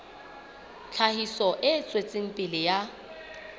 tlhahiso e tswetseng pele ya